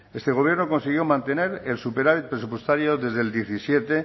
este gobierno consiguió mantener el superávit presupuestario desde el diecisiete